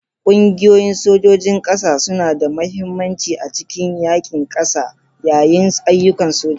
Ƙungiyoyin sojojin ƙasa suna da mahimmanci a cikin yaƙin ƙasa yayin ayyukan soja.